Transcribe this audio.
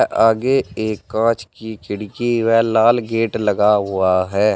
आगे एक कांच की खिड़की व लाल गेट लगा हुआ है।